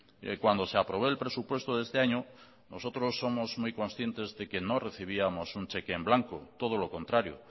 y cuando se aprobó el presupuesto de este año nosotros somos muy conscientes de que no recibíamos un cheque en blanco todo lo contrario